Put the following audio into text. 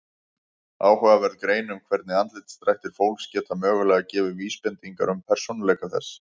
Áhugaverð grein um hvernig andlitsdrættir fólks geta mögulega gefið vísbendingar um persónuleika þess.